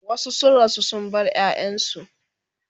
wasu sun rasu sun bar ƴaƴansu